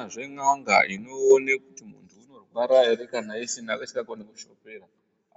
Hakunazve n'anga inoona kuti muntu unorwara ere kana isingagoni kushopera,